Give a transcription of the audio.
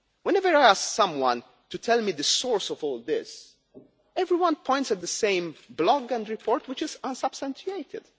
lie. Whenever I ask someone to tell me the source of all this, everyone points at the same blog and report, which is unsubstantiated.